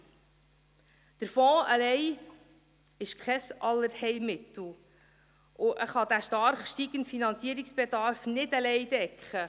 Der Fonds alleine ist kein Allheilmittel, und er kann den stark steigenden Finanzierungsbedarf nicht alleine decken.